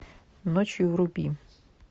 ночью вруби